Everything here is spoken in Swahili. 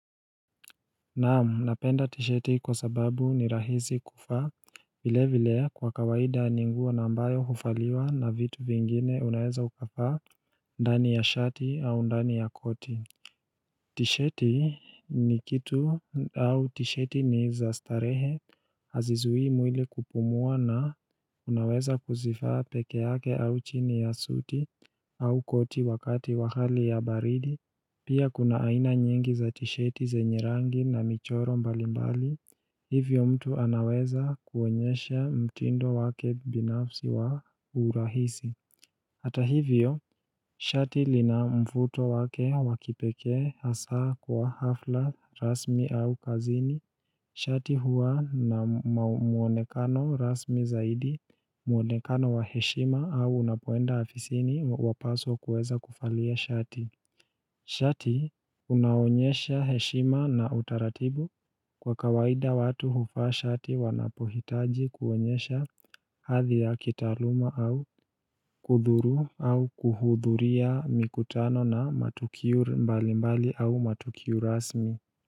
Naam, napenda tisheti kwa sababu ni rahisi kuvaa vile vile kwa kawaida ni nguo na ambayo huvaliwa na vitu vingine unaweza ukavaa ndani ya shati au ndani ya koti tisheti ni kitu au tisheti ni za starehe hazizuii mwili kupumua na unaweza kuzivaa peke yake au chini ya suti au koti wakati wa hali ya baridi Pia kuna aina nyingi za tisheti zenye rangi na michoro mbalimbali, hivyo mtu anaweza kuonyesha mtindo wake binafsi wa urahisi Hata hivyo, shati lina mvuto wake wa kipekee hasa kwa hafla rasmi au kazini, shati huwa na muonekano rasmi zaidi, muonekano wa heshima au unapoenda afisini wapaswa kueza kuvalia shati Shati unaonyesha heshima na utaratibu kwa kawaida watu huvaa shati wanapohitaji kuonyesha hadhi ya kitaaluma au kudhuru au kuhudhuria mikutano na matukio mbalimbali au matukio rasmi.